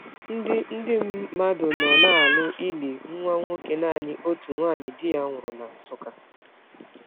Ndị Ndị mmadụ nọ na-alụ ili nwa nwoke naanị otu nwanyị di ya nwụrụ na Nsukka.